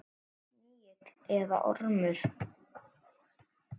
Verði snigill eða ormur.